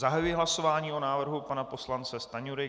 Zahajuji hlasování o návrhu pana poslance Stanjury.